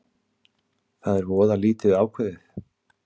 Það er voða lítið ákveðið